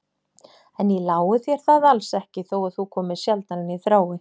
En ég lái þér það alls ekki, þó að þú komir sjaldnar en ég þrái.